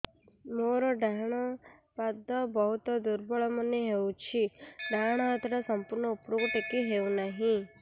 ମୋର ଡାହାଣ ପାଖ ବହୁତ ଦୁର୍ବଳ ମନେ ହେଉଛି ଡାହାଣ ହାତଟା ସମ୍ପୂର୍ଣ ଉପରକୁ ଟେକି ହେଉନାହିଁ